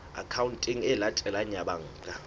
akhaonteng e latelang ya banka